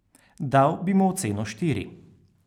Dal bi mu oceno štiri.